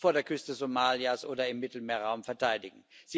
vor der Küste Somalias oder im Mittelmeerraum verteidigen.